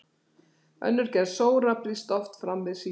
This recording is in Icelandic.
Önnur gerð sóra brýst oft fram við sýkingar í hálsi.